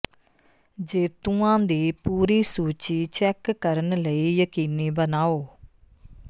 ਜੇਤੂਆਂ ਦੀ ਪੂਰੀ ਸੂਚੀ ਚੈੱਕ ਕਰਨ ਲਈ ਯਕੀਨੀ ਬਣਾਓ